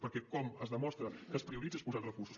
perquè com es demostra que es prioritza és posant recursos